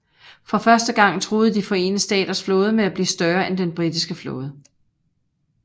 For første gang truede De Forenede Staters flåde med at blive større end den britiske flåde